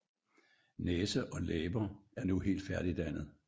Næse og læber er nu helt færdigdannet